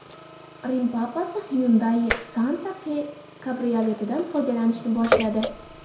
Rim papasi Hyundai Santa Fe kabrioletidan foydalanishni boshladi.